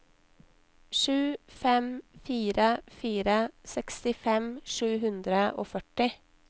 sju fem fire fire sekstifem sju hundre og førti